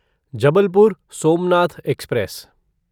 Jabalpur Somnath express